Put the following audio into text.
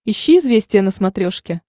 ищи известия на смотрешке